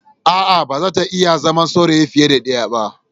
A'a, ba za ta iya zama saurayi fiye da ɗaya ba.